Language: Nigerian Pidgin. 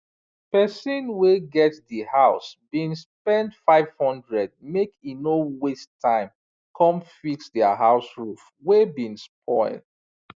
pesin wey get di house bin spend 500 make e no waste time come fix dia house roof wey bin spoil